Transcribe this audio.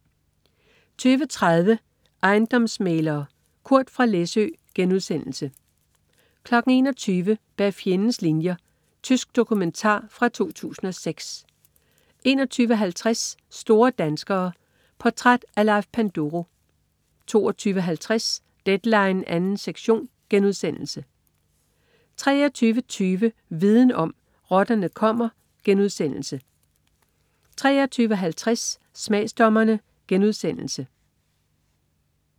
20.30 Ejendomsmæglere. Kurt fra Læsø* 21.00 Bag fjendens linjer. Tysk dokumentar fra 2006 21.50 Store danskere. Portræt af Leif Panduro 22.50 Deadline 2. sektion* 23.20 Viden om: Rotterne kommer* 23.50 Smagsdommerne*